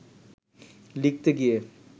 লিখতে গিয়ে